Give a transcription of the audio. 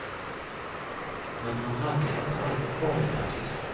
Men han hade inte alltid varit artist.